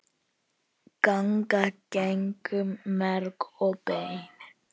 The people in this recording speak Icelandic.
ganga gegnum merg og bein